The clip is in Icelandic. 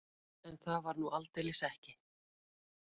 En það var nú aldeilis ekki.